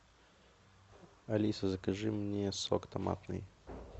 алиса закажи мне сок томатный